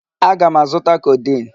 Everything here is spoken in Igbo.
Aga m azụta codeine.